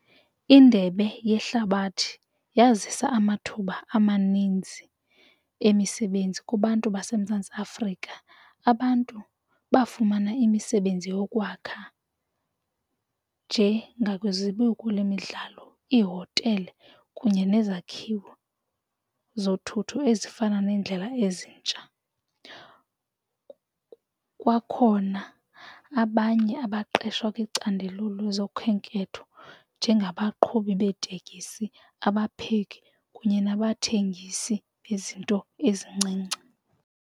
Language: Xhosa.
Indebe yehlabathi yazisa amathuba amaninzi emisebenzi kubantu baseMzantsi Afrika. Abantu bafumana imisebenzi yokwakha nje ngakwizibiko lemidlalo ihotele kunye nezakhiwo zothutho ezifana neendlela ezintsha. Kwakhona abanye abaqeshwa kwicandelo lezokhenketho njengabaqhubi beetekisi abapheki kunye nabathengisi bezinto ezincinci.